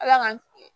Ala ka